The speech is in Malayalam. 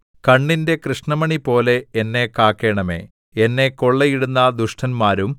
കണ്ണിന്റെ കൃഷ്ണമണിപോലെ എന്നെ കാക്കണമേ എന്നെ കൊള്ളയിടുന്ന ദുഷ്ടന്മാരും